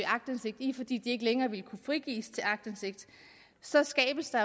aktindsigt i fordi de ikke længere ville kunne frigives til aktindsigt så skabes der